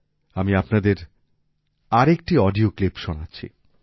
আমি আপনাদের আরেকটি অডিও ক্লিপ শোনাচ্ছি